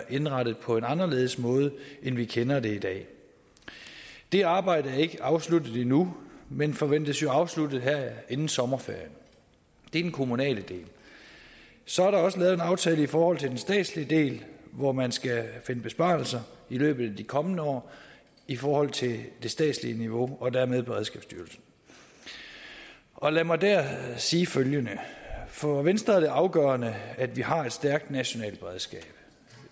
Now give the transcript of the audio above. indrettet på en anderledes måde end vi kender det i dag det arbejde er ikke afsluttet endnu men forventes afsluttet her inden sommerferien det er den kommunale del så er der også lavet en aftale i forhold til den statslige del hvor man skal finde besparelser i løbet af de kommende år i forhold til det statslige niveau og dermed hos beredskabsstyrelsen og lad mig her sige følgende for venstre er det afgørende at vi har et stærkt nationalt beredskab